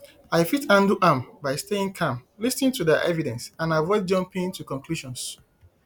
i fit handle am by staying calm lis ten to di evidence and avoid jumping to conclusions